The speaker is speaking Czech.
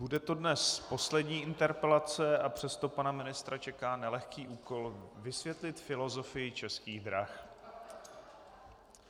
Bude to dnes poslední interpelace, a přesto pana ministra čeká nelehký úkol vysvětlit filozofii Českých drah.